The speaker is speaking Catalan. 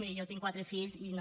miri jo tinc quatre fills i no